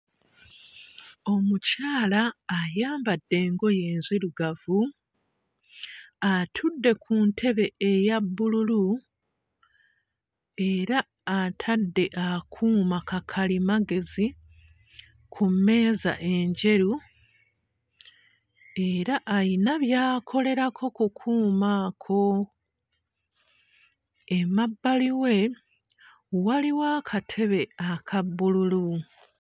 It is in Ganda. Omukyala ayambadde engoye enzirugavu atudde ku ntebe eya bbululu era atadde akuuma kakalimagezi ku mmeeza enjeru era ayina by'akolerako ku kuuma ako emabbali we waliwo akatebe aka bbululu.